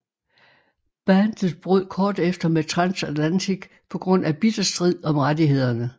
Bandet brød kort efter med Transatlantic på grund af bitter strid om rettighederne